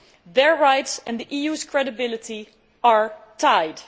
Their rights and the EU's credibility are tied.